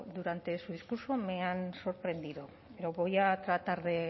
durante su discurso me han sorprendido pero voy a tratar de